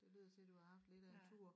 Det lyder til du har haft lidt af en tur